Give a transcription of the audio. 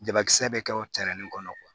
Jabakisɛ bɛ kɛ o kɔnɔ